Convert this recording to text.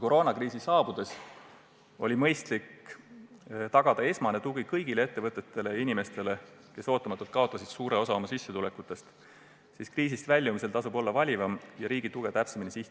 Koroonakriisi saabudes oli mõistlik tagada esmane tugi kõigile ettevõtetele ja inimestele, kes ootamatult kaotasid suure osa oma senisest sissetulekust, seevastu kriisist väljumisel tasub olla valivam ja riigi tuge täpsemini suunata.